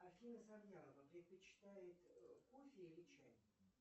афина завьялова предпочитает кофе или чай